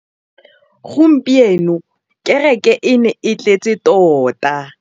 Gompieno kêrêkê e ne e tletse tota.